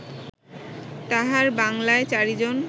তাঁহার বাঙ্গলায় চারিজন